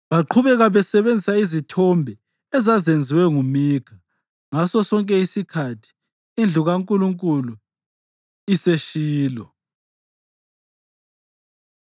Baqhubeka basebenzisa izithombe ezazenziwe nguMikha, ngasosonke isikhathi indlu kaNkulunkulu iseShilo.